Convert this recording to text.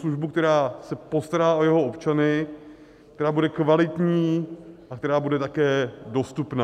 Službu, která se postará o jeho občany, která bude kvalitní a která bude také dostupná.